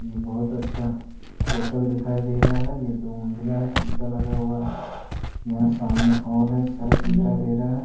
ये बहुत अच्छा होटल दिखाई दे रहा है ये दो मंजिला है शीशा लगा हुआ है यहाँ सामने एक हॉल है सर्प दिखाई दे रहा है ।